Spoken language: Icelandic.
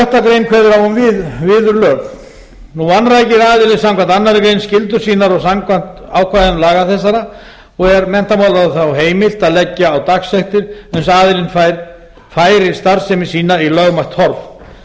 sjötta grein kveður á um viðurlög nú vanrækir aðili samkvæmt annarri grein skyldur sínar samkvæmt ákvæðum laga þessara og er menntamálaráðherra þá heimilt að leggja á dagsektir uns aðilinn færir starfsemi sína í lögmætt horf